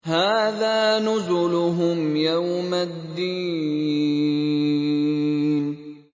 هَٰذَا نُزُلُهُمْ يَوْمَ الدِّينِ